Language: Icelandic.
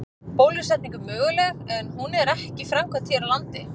Bólusetning er möguleg en hún er ekki framkvæmd hér á landi.